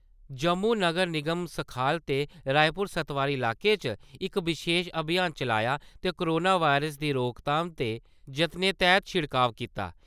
जम्मू नगर निगम सखाल ते रायपुर सत्तवारी इलाके च इक विशेष अभियान चलाया ते कोरोना वायरस दी रोकथाम दे यत्नें तैहत शिड़काव कीता ।